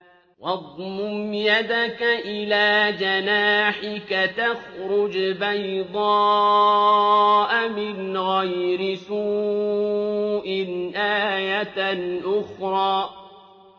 وَاضْمُمْ يَدَكَ إِلَىٰ جَنَاحِكَ تَخْرُجْ بَيْضَاءَ مِنْ غَيْرِ سُوءٍ آيَةً أُخْرَىٰ